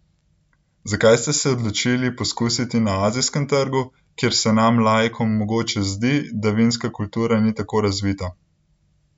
Zakaj ste se odločili poskusiti na azijskem trgu, kjer se nam laikom mogoče zdi, da vinska kultura ni tako razvita?